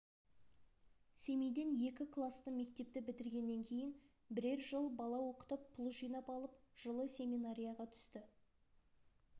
семейден екі класты мектепті бітіргеннен кейін бірер жыл бала оқытып пұл жинап алып жылы семинарияға түсті